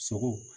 Sogo